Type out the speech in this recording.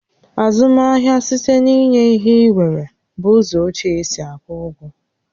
Azụmahịa site n'inye ihe inwere bụ ụzọ ochie e si akwụ ụgwọ